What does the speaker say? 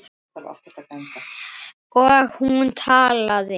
Og hún talaði.